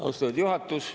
Austatud juhatus!